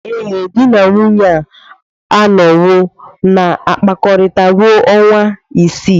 Ee, di na nwunye a anọwo na-akpakọrịta ruo ọnwa isii.